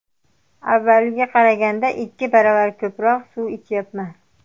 Avvalgiga qaraganda ikki baravar ko‘proq suv ichyapman.